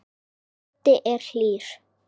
Böddi er hlýr.